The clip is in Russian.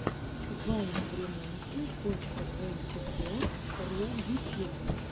вайн времонте точка твэнти фо ру ютьюб